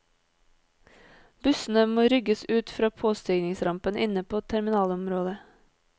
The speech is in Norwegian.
Bussene må rygges ut fra påstigningsrampen inne på terminalområdet.